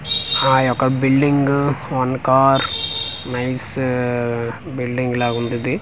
ఆ యొక్క building one car nice building లాగుందిది.